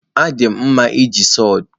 Adị m mma n'iji sawdu.